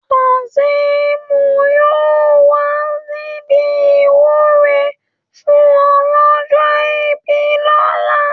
kaseem yóò wà níbi ìwúre fún ọlọ́jọ́ ìbí lọ́la